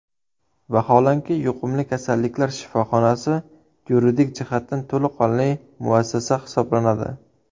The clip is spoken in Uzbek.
Vaholanki, yuqumli kasalliklar shifoxonasi yuridik jihatdan to‘laqonli muassasa hisoblanadi.